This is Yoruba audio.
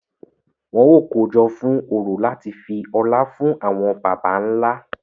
Wọn o kojọ fún orò láti fi ọlá fún àwọn bàbà nlá.